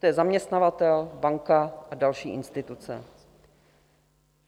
To je zaměstnavatel, banka a další instituce.